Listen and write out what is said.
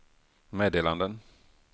meddelanden